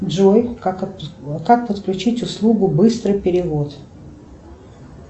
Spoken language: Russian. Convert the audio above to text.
джой как подключить услугу быстрый перевод